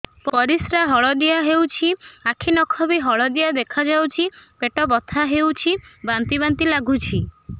ପରିସ୍ରା ହଳଦିଆ ହେଉଛି ଆଖି ନଖ ବି ହଳଦିଆ ଦେଖାଯାଉଛି ପେଟ ବଥା ହେଉଛି ବାନ୍ତି ବାନ୍ତି ଲାଗୁଛି